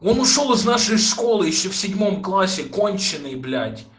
он ушёл из нашей школы ещё в седьмом классе конченый блять